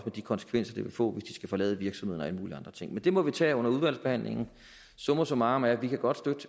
de konsekvenser det vil få hvis de skal forlade virksomheden og ting men det må vi tage under udvalgsbehandlingen summa summarum er at vi godt